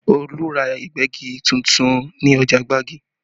Olu ra Ìgbẹ́gi tuntun ní ọjà Gbagi